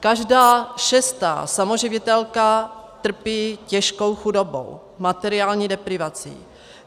Každá šestá samoživitelka trpí těžkou chudobou, materiální deprivací.